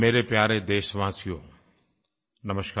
मेरे प्यारे देशवासियों नमस्कार